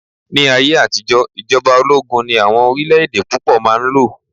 ní ayé àtijó ijoba ologun ni awọn orilẹ ede púpò ma n lo